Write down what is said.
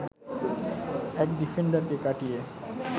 এক ডিফেন্ডারকে কাটিয়ে